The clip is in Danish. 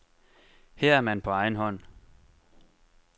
Her er man på egen hånd.